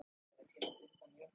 Allt í uppnámi.